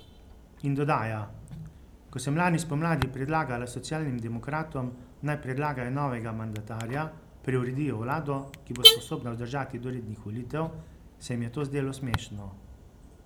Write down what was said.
In dodaja: 'Ko sem lani spomladi predlagala socialnim demokratom, naj predlagajo novega mandatarja, preuredijo vlado, ki bo sposobna vzdržati do rednih volitev, se jim je to zdelo smešno.